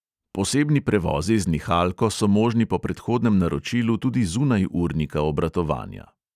Posebni prevozi z nihalko so možni po predhodnem naročilu tudi zunaj urnika obratovanja.